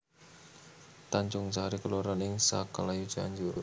Tanjungsari kelurahan ing Sukaluyu Cianjur